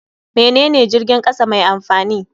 Menene jirgin kasa mai amfani?